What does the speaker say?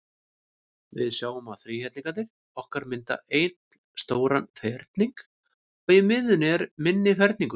Við sjáum að þríhyrningarnir okkar mynda einn stóran ferning, og í miðjunni er minni ferningur.